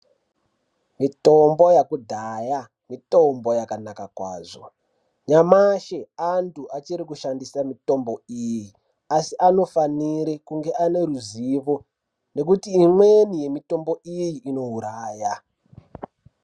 Mitombo yakudhaya mitombo yakanaka kwazvo. Nyamashi antu achiri kushandisa mitombo iyi asi anofanire kunge ane ruzivo nekuti imweni yemitombo iyi inouraya.